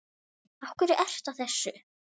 Af hverju ertu að þessu?